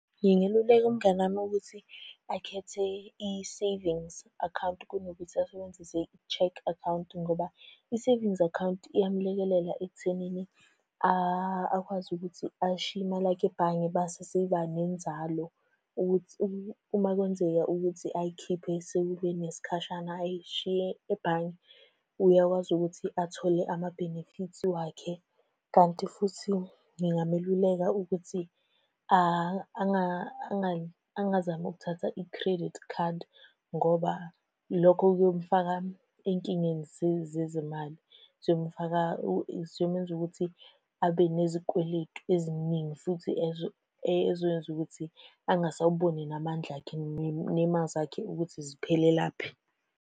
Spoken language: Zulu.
Ngingeluleka umngani wami ukuthi akhethe i-savings akhawunti kunokuthi asebenzise i-cheque akhawunti ngoba, i-savings akhawunti iyamulekelela ekuthenini akwazi ukuthi ayishiye imali yakhe ebhange mase isiba nenzalo, ukuthi uma kwenzeka ukuthi ayikhiphe sekube nesikhashana ayishiye ebhange. Uyakwazi ukuthi athole amabhenefithi wakhe, kanti futhi ngingameluleka ukuthi angazami ukuthatha i-credit card, ngoba lokho kuyomufaka ey'nkingeni zezemali. Ziyomufaka ziyomenza ukuthi abe nezikweletu eziningi, futhi ey'zokwenza ukuthi angasawuboni namandla, akhe ney'mali zakhe ukuthi ziphelelaphi.